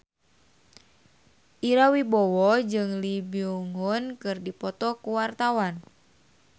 Ira Wibowo jeung Lee Byung Hun keur dipoto ku wartawan